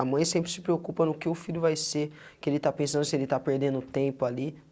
A mãe sempre se preocupa no que o filho vai ser, que ele está pensando se ele está perdendo tempo ali.